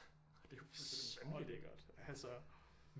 Det er jo fuldstændig vanvittigt